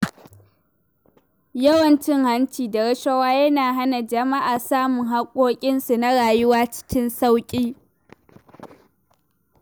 Yawan cin hanci da rashawa yana hana jama’a samun haƙƙoƙinsu na rayuwa cikin sauƙi.